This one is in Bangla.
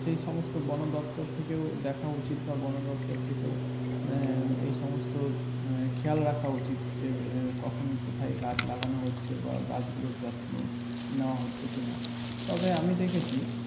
সেই সমস্ত বনদপ্তর থেকেও দেখা উচিত বা বনদপ্তর থেকেও আহ এই সমস্ত খেয়াল রাখা উচিত যে কখন কোথায় গাছ লাগানো হচ্ছে বা গাছ গুলোর যত্ন নেওয়া হচ্ছে কি না তবে আমি দেখেছি.